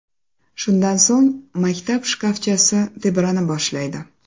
Shundan so‘ng maktab shkafchasi tebrana boshlaydi.